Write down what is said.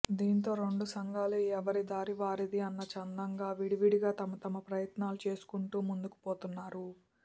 దీంతో రెండు సంఘాలు ఎవరి దారి వారిది అన్న చందంగా విడివిడిగా తమతమ ప్రయత్నాలు చేసుకుంటూ ముందుకుపోతున్నారు